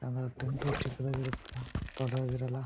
ಅಂದ್ರೆ ಟೆಂಟ್ ಚಿಕ್ಕದಾಗಿ ಇರುತ್ತೆ ದೊಡ್ಡದಾಗಿ ಇರಲ್ಲ.